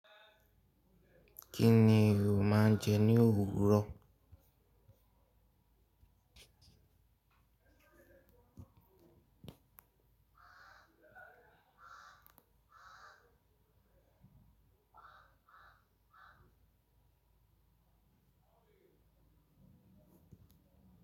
Kí ni o máa ń jẹ ní òwúrọ̀?